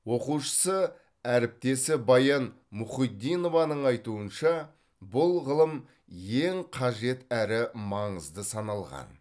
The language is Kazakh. оқушысы әріптесі баян мұхитдинованың айтуынша бұл ғылым ең қажет әрі маңызды саналған